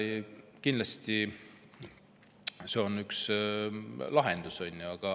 Kindlasti on see üks lahendus.